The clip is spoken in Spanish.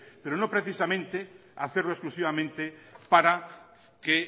pero no precisamente hacerlo exclusivamente para que